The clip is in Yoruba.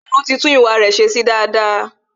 Tolu ti tún ìwà re se sí daada